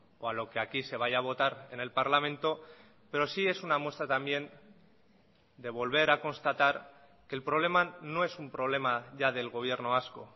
o a lo que aquí se vaya a votar en el parlamento pero sí es una muestra también de volver a constatar que el problema no es un problema ya del gobierno vasco